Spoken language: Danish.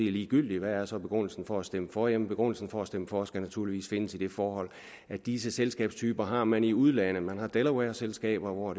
er ligegyldigt hvad er så begrundelsen for at stemme for jamen begrundelsen for at stemme for skal naturligvis findes i det forhold at disse selskabstyper har man i udlandet man har delawareselskaber hvor